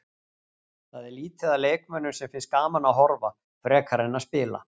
Það er lítið af leikmönnum sem finnst gaman að horfa frekar en að spila.